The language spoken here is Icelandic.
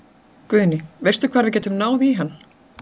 Guðný: Veistu hvar við getum náð í hann?